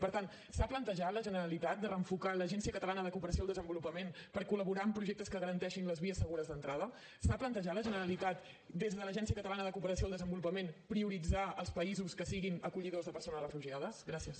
per tant s’ha plantejat la generalitat de reenfocar l’agència catalana de cooperació al desenvolupament per col·laborar amb projectes que garanteixin les vies segures d’entrada s’ha plantejat la generalitat des de l’agencia catalana de cooperació al desenvolupament prioritzar els països que siguin acollidors de persones refugiades gràcies